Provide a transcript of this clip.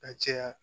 Ka caya